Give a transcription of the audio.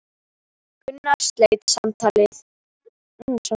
Gunnar sleit samtalinu og leit á klukkuna.